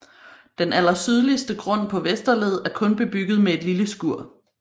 Den allersydligste grund på Vesterled er kun bebygget med et lille skur